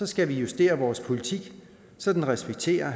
skal vi justere vores politik så den respekterer